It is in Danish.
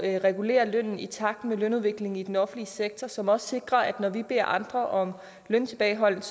at regulere lønnen i takt med lønudviklingen i den offentlige sektor som også sikrer at det når vi beder andre om løntilbageholdenhed